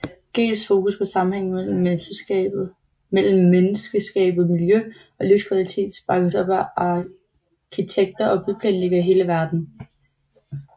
Gehls fokus på sammenhængen mellem menneskeskabt miljø og livskvalitet bakkes op af arkitekter og byplanlæggere i hele verden